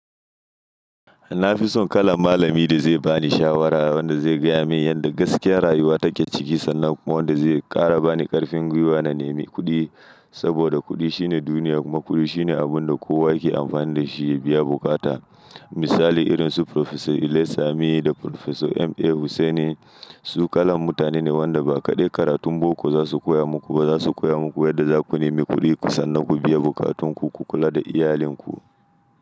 Na fi son kalan malami da zai ba ni shawara, wanda zai gaya min yadda gaskiyar rayuwa take ciki, sannan kuma wanda zai ƙara bani ƙarfin gwiwa na nemi kuɗi, saboda kuɗi shine duniya, kuma kuɗi shine abun da kowa yake amfani da shi ya biya buƙata. Misali irin su Profesa Illey Sami da Profesa M.A Hussaini su kalan mutane ne wanda ba kaɗai karatun boko za su koya muku ba za su koya muku yadda za ku nemi kuɗi kusan na ku biya bukatunku ku kula da iyalinku.